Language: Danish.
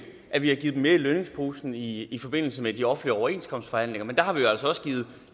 at vi har givet dem mere i lønningsposen i i forbindelse med de offentlige overenskomstforhandlinger men der har vi altså også givet